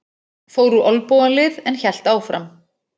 Fór úr olnbogalið en hélt áfram